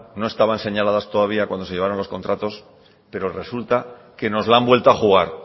no estaban señaladas todavía cuando se llevaron los contratos pero resulta que nos la han vuelto a jugar